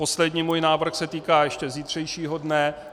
Poslední můj návrh se týká ještě zítřejšího dne.